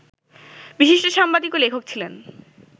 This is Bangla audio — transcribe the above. বিশিষ্ট সাংবাদিক ও লেখক ছিলেন